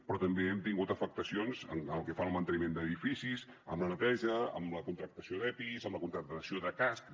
però també hem tingut afectacions pel que fa al manteniment d’edificis en la neteja en la contractació d’epis en la contractació de cascs